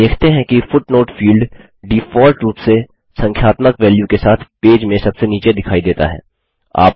आप देखते हैं कि फुटनोट फील्ड डिफॉल्ट रूप से संख्यात्मक वेल्यू के साथ पेज में सबसे नीचे दिखाई देता है